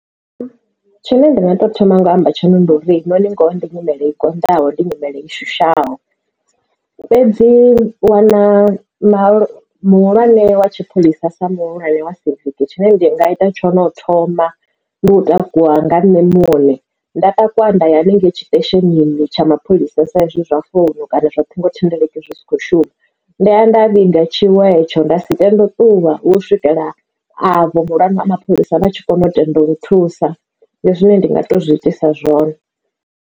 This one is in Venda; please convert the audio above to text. Tshine nda nga to thoma ngo amba tshone ndi uri nori ngoho ndi nyimele i konḓaho ndi nyimele i shushaho. Fhedzi wana ma muhulwane wa tshipholisa sa muhulwane wa siviki tshine ndi nga ita tshone u thoma ndi u takuwa nga nṋe muṋe nda takuwa nda ya haningei tshi station tsha mapholisa sa izwi zwa founu kana zwa ṱhingo thendeleki zwi sa kho shuma. Nda ya nda vhiga tshiwo hetsho nda si tende u ṱuwa u swikela avho muhulwane wa mapholisa vha tshi kona u tenda uri thusa ndi zwine ndi nga to zwi itisa zwone.